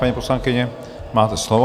Paní poslankyně, máte slovo.